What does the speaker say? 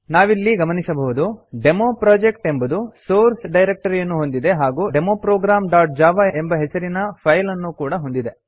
ನಾವಿಲ್ಲಿ ಗಮನಿಸಬಹುದು ಡೆಮೊಪ್ರೊಜೆಕ್ಟ್ ಎಂಬುದು ಸೋರ್ಸ್ ಡೈರಕ್ಟರಿಯನ್ನು ಹೊಂದಿದೆ ಹಾಗೂ ಡೆಮೊ programಜಾವಾ ಎಂಬ ಹೆಸರಿನ ಫೈಲ್ ಅನ್ನೂಒ ಹೊಂದಿದೆ